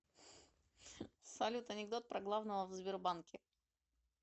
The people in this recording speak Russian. салют анекдот про главного в сбербанке